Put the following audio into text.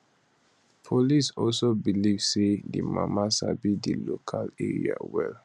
police also believe say di mama sabi di local area well